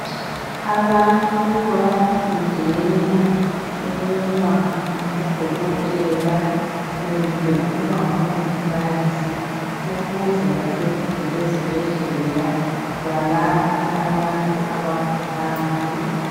Abantu bayafundeka ukuba ngaboDokotela kumbe ukuba ngaBongikazi ukuze basebenzele ezibhedlela balaphe abagulayo.